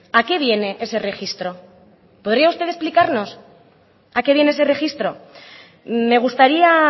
a qué viene ese registro podría usted explicarnos a qué viene ese registro me gustaría